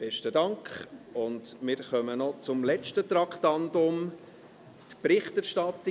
Wir kommen noch zum letzten Traktandum, zur Berichterstattung.